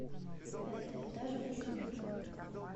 пятый этаж без лифта